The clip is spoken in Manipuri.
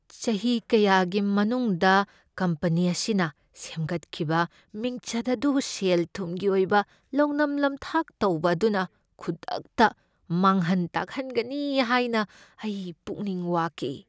ꯆꯍꯤ ꯀꯌꯥꯒꯤ ꯃꯅꯨꯡꯗ ꯀꯝꯄꯅꯤ ꯑꯁꯤꯅ ꯁꯦꯝꯒꯠꯈꯤꯕ ꯃꯤꯡꯆꯠ ꯑꯗꯨ ꯁꯦꯜ ꯊꯨꯝꯒꯤ ꯑꯣꯏꯕ ꯂꯧꯅꯝ ꯅꯝꯊꯥꯛ ꯇꯧꯕ ꯑꯗꯨꯅ ꯈꯨꯗꯛꯇ ꯃꯥꯡꯍꯟ ꯇꯥꯛꯍꯟꯒꯅꯤ ꯍꯥꯏꯅ ꯑꯩ ꯄꯨꯛꯅꯤꯡ ꯋꯥꯈꯤ꯫